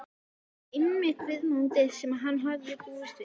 Þetta var einmitt viðmótið sem hann hafði búist við.